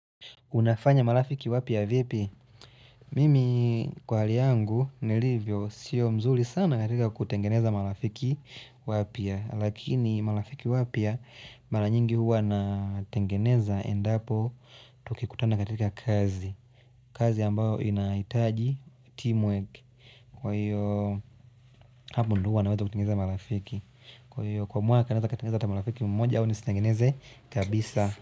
Unafanya malafiki wapia vipi? Mimi kwa hali yangu nilivyo siyo mzuli sana katika kutengeneza malafiki wapia. Lakini malafiki wapia, mala nyingi huwa natengeneza endapo tukikutana katika kazi. Kazi ambayo inaitaji teamwork. Kwa hiyo hapo ndi huwa naweza kutengeneza malafiki. Kwa hiyo kwa mwaka katengeneza kutengeneza malafiki mmoja au nistengeneze kabisa.